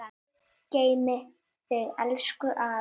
Guð geymi þig elsku afi.